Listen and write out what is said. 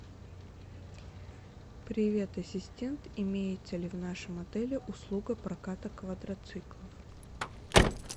привет ассистент имеется ли в нашем отеле услуга проката квадроциклов